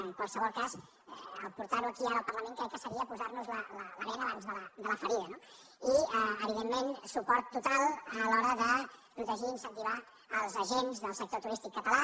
en qualsevol cas portar·ho aquí ara al parlament crec que seria posar·nos la bena abans de la ferida no i evidentment suport total a l’hora de protegir incen·tivar els agents del sector turístic català